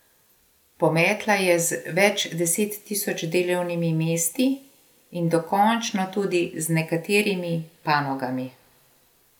Pometla je z več deset tisoč delovnimi mesti in dokončno tudi z nekaterimi panogami.